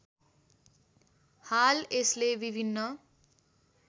हाल यसले विभिन्न